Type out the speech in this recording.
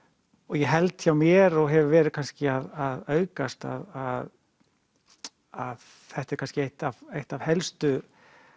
ég held hjá mér og hefur verið kannski að aukast að að þetta er kannski eitt af eitt af helstu